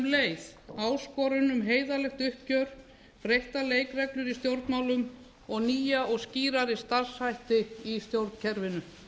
leið áskorun um heiðarlegt uppgjör breyttar leikreglur í stjórnmálum og nýja og skýrari starfshætti í stjórnkerfinu